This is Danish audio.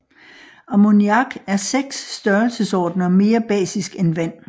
Ammoniak er 6 størrelsesordener mere basisk end vand